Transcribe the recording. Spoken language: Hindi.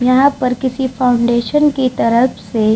यहाँ पर किसी फउंडेशन की तरफ से --